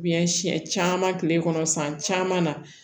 Biyɛn siyɛn caman tile kɔnɔ san caman na